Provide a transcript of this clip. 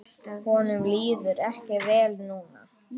Honum líður ekki vel núna.